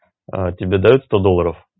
а тебе даёт сто долларов